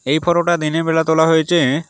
এই ফোটোটা দিনের বেলা তোলা হয়েছে।